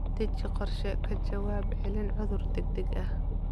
Deji qorshe ka jawaab celin cudur degdeg ah.